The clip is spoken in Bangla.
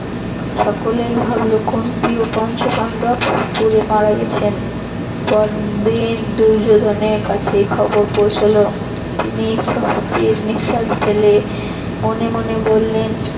সকলেই ভাবল কুন্তি ও পঞ্চ পান্ডব পুড়ে মারা গেছেন। পরদিন দুর্যোধনের কাছে খবর পৌছাল তিনি সস্ত্বির নিশ্বাস ফেলে মনে মনে বললেন